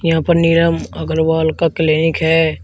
यहां पर नीलम अग्रवाल का क्लीनिक है।